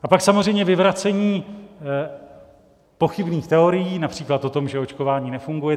A pak samozřejmě vyvracení pochybných teorií, například o tom, že očkování nefunguje.